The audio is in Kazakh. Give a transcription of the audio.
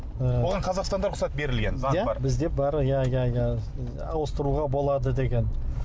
ы оған қазақстанда рұхсат берілген заң бар бізде бар иә иә иә ауыстыруға болады деген